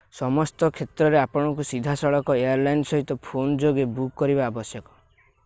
ସମସ୍ତ କ୍ଷେତ୍ରରେ ଆପଣଙ୍କୁ ସିଧାସଳଖ ଏୟାରଲାଇନ୍ ସହିତ ଫୋନ୍ ଯୋଗେ ବୁକ୍ କରିବା ଆବଶ୍ୟକ